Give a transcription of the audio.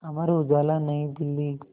Amar Ujala New Delhi